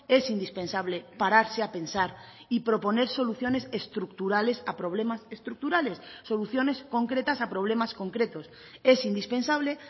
es indispensable pararse a pensar y proponer soluciones estructurales a problemas estructurales soluciones concretas a problemas concretos es indispensable